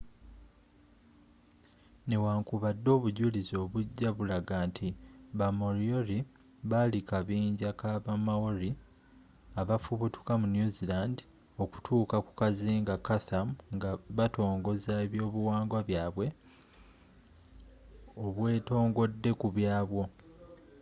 newankubadde obujulizi obujja bulaga nti ba moriori bali kabinja ka ba maori abafubutuka mu new zealand okutuuka ku kazinga chatham nga batongoza ebyobuwangwa byabwe obwetongodde ku bwabyo